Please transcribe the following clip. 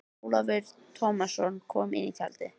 Ólafur Tómasson kom inn í tjaldið.